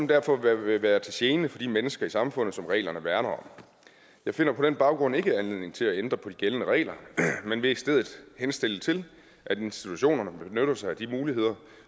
derfor vil være til gene for de mennesker i samfundet som reglerne værner om jeg finder på den baggrund ikke anledning til at ændre på de gældende regler men vil i stedet henstille til at institutionerne benytter sig af de muligheder